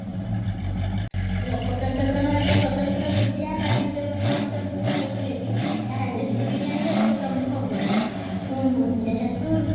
ଲୋକ ପ୍ରଶାସନ ଏକ ସ୍ଵତନ୍ତ୍ର ବିଦ୍ୟା ତା ବିଷୟରେ ଅନ୍ତର୍ଭୁକ୍ତ ହୋଇଥିଲେ ବି ଏହା ରାଜନୀତି ବିଜ୍ଞାନର ଏକ ପ୍ରମୁଖ ଅଙ୍ଗ ଅଟେ ଯେହେତୁ